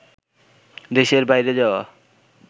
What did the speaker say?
দেশের বাইরে যাওয়া